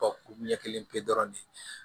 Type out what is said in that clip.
ɲɛ kelen pe dɔrɔn de